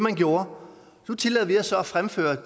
jo